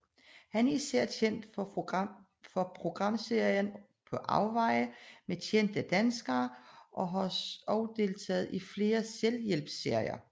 Han er især kendt for programserien På afveje med kendte personer og har også deltaget i flere selvhjælpsserier